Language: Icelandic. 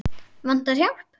Vantar hjálp.